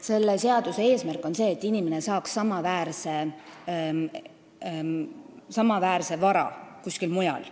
Selle seaduse eesmärk on see, et inimene saaks samaväärse vara kuskil mujal.